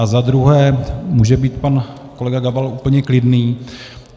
A za druhé může být pan kolega Gabal úplně klidný.